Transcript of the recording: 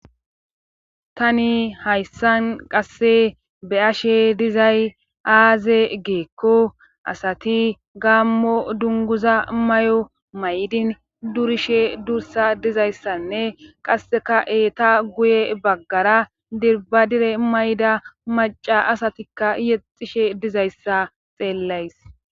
Tani hayssan qasse be ashe dizay aaze geekko asati gaammo dunguza may7o maydin durishe dursa dizayssanne qasseka eeta guye baggara dirbadire mayda maca asatikka yexishe dizayssa xeellays